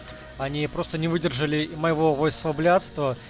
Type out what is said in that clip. они просто не выдержали моего войсого блядства